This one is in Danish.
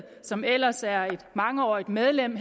som ellers er et mangeårigt medlem